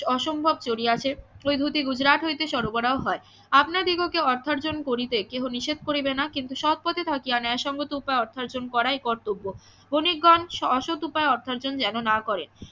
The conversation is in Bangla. অসম্ভব চড়িয়াছে ওই ধুতি গুজরাট হইতে সরবরাহ হয় আপনাদিগকে অর্থার্জন করিতে কেহ নিষেধ করিবে না কিন্তু সৎ পথে থাকিয়া ন্যায় সঙ্গত উপায়ে অর্থার্জন করাই কর্তব্য বণিকগণ অসৎ উপায়ে অর্থার্জন যেন না করে